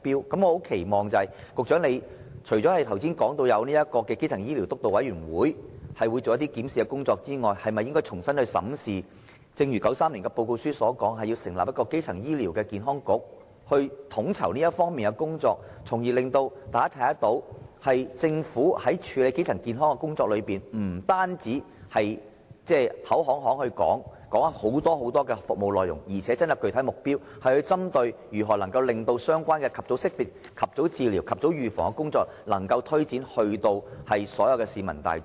所以，我很期望局長——除了剛才提到，會由基層醫療督導委員會進行檢視工作外——能重新審視1993年的報告書所提出的建議，成立一個基層醫療健康局，統籌這方面的工作，從而讓大家看到，政府在處理基層健康的工作方面，不單是口惠，說出許許多多的服務，還真的訂下了具體目標，針對如何能將相關的及早識別、及早治療、及早預防的工作，推展到所有市民大眾。